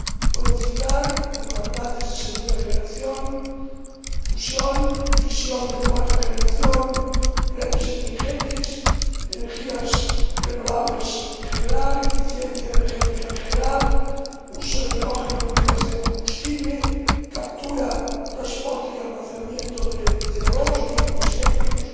Puedo citar biocarburantes de segunda generación, fusión, fisión de cuarta generación, redes inteligentes, energías renovables en general, eficiencia energética en general, uso de hidrógeno en pilas de combustible, captura, transporte y almacenamiento de CO vehículos eléctricos,